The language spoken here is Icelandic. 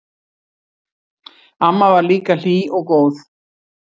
Amma var líka hlý og góð.